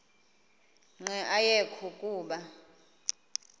nqe ayekho kuba